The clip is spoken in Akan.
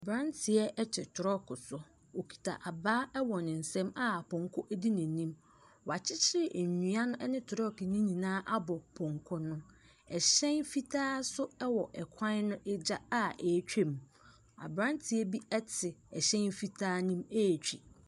Aberanteɛ te trɔɔko so, okita abaa wɔ ne nsam a pɔnkɔ di n’anim. Wɔakyekyere nnua no ne trɔɔko ne nyinaa abɔ pɔnkɔ no. hyɛn fitaa nso wɔ kwan no agya a ɔretwa mu, aberanteɛ bi te hyɛn fitaa ne mu ɛretwa mu.